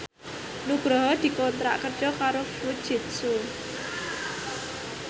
Nugroho dikontrak kerja karo Fujitsu